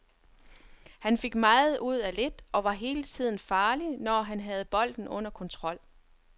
Han fik meget ud af lidt og var hele tiden farlig, når han havde bolden under kontrol.